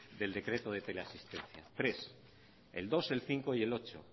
del decreto de teleasistencia tres el dos el cinco y el ocho